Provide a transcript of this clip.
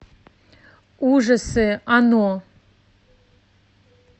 ужасы оно